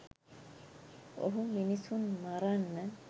ඔහු මිනිසුන් මරන්න